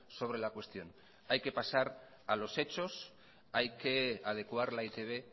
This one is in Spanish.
sobre la cuestión hay que pasar a los hechos hay que adecuar la e i te be